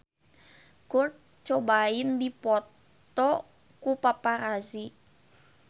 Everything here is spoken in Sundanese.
Kurt Cobain dipoto ku paparazi